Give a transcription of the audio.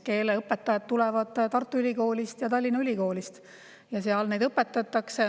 Keeleõpetajad tulevad Tartu Ülikoolist ja Tallinna Ülikoolist, seal neid õpetatakse.